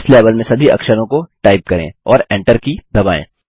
इस लेवल में सभी अक्षरों का टाइप करें और Enter की दबाएँ